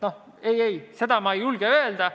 Ei-ei, seda ma ei julge öelda.